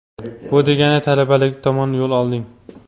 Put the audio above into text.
bu degani talabalik tomon yo‘l olding.